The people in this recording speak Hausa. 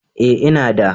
Ee ina da.